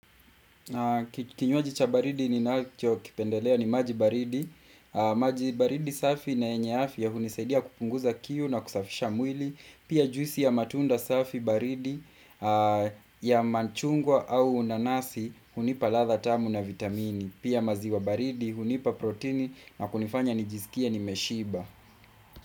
Kinyuaji cha baridi ninachokipendelea ni maji baridi maji baridi safi na yenye afya hunisaidia kupunguza kiu na kusafisha mwili. Pia juisi ya matunda safi baridi ya machungwa au nanasi hunipa ladha tamu na vitamini. Pia maziwa baridi hunipa protini na kunifanya nijisikie nimeshiba.